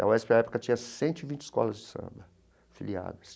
A UESP, na época, tinha cento e vinte escolas de samba filiadas.